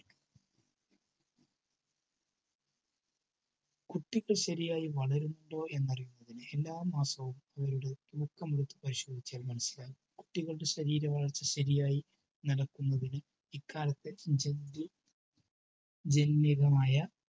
കുട്ടികൾ ശെരിയായി വളരുന്നുണ്ടോ എന്നറിയാൻ എല്ലാ മാസവും അവരുടെ തൂക്കം വച്ചു പരിശോധിച്ചാൽ മനസ്സിലാകും. കുട്ടികളുടെ ശരീര വളർച്ച ശെരിയായി നടക്കുന്നതിന് ഇക്കാലത്തെ രമ്യകമായ